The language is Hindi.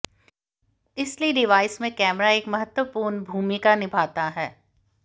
इसलिए डिवाइस में कैमरा एक महत्वपूर्ण भूमिका निभाता है